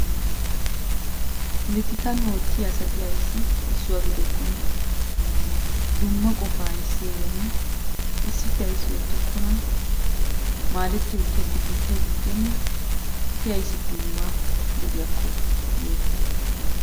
Polottikkan ootiya asati ayssi issuwa giddokkona? Dumma qofaa ayssi ehiyona issippe ayssi oottokkona, maadetti ootiyakko biittay diccenne eti ayssi dumma gidiyakko yoottite.